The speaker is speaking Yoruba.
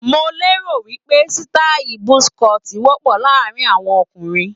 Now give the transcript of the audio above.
Mo lérò wí pé sítáì buzz cut wọ́pọ̀ láàárín àwọn ọkùnrin.